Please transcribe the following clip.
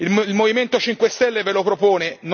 Il Movimento 5 Stelle ve lo propone